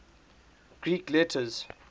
greek letters